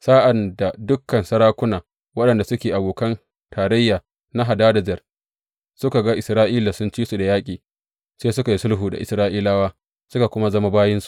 Sa’ad da dukan sarakuna waɗanda suke abokan tarayya na Hadadezer suka ga Isra’ila sun ci su da yaƙi, sai suka yi sulhu da Isra’ilawa, suka kuma zama bayinsu.